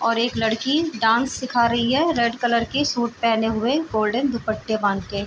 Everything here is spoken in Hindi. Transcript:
और एक लड़की डांस सीखा रही है रेड कलर की सूट पहने हुए गोल्डन दुपट्टे बांध के --